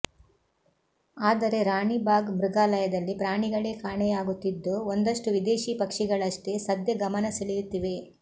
ಆದರೆ ರಾಣಿಬಾಗ್ ಮೃಗಾಲಯದಲ್ಲಿ ಪ್ರಾಣಿಗಳೇ ಕಾಣೆಯಾಗುತ್ತಿದ್ದು ಒಂದಷ್ಟು ವಿದೇಶಿ ಪಕ್ಷಿಗಳಷ್ಟೇ ಸದ್ಯ ಗಮನ ಸೆಳೆಯುತ್ತಿವೆ